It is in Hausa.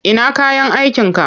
Ina kayan aikinka?